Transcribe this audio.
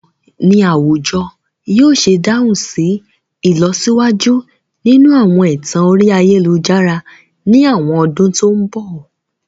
Báwo ni àwùjọ yóò ṣe dáhùn sí ìlọsíwájú nínú àwọn ẹ̀tàn orí ayélujára ní àwọn ọdún tó ń bọ̀?